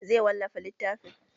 Zai wallafa littafin?